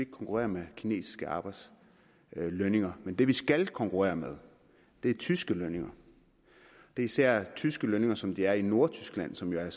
konkurrere med kinesiske lønninger men det vi skal konkurrere med er tyske lønninger det er især tyske lønninger som de er i nordtyskland som jo er